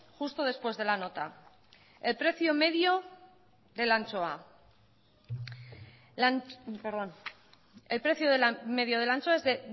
justo después de la nota el precio medio de la anchoa es de